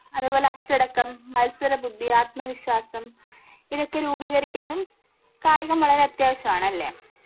അത് പോലെ അച്ചടക്കം മത്സര ബുദ്ധി ആത്മവിശ്വാസം ഇതൊക്കെ രൂപീകരിക്കാനും കായികം വളരെ അത്യവിശ്യാണ് ല്ലേ